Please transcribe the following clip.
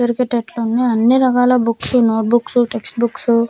దొరికేటట్లు ఉన్నాయ్ అన్ని రకాల books notebooks textbooks --